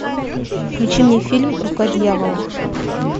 включи мне фильм рука дьявола